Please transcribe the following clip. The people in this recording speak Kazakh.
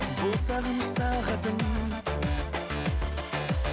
бұл сағыныш сағатым